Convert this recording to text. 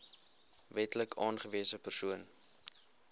wetlik aangewese persoon